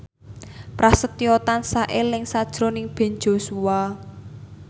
Prasetyo tansah eling sakjroning Ben Joshua